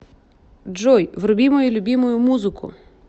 джой вруби мою любимую музыку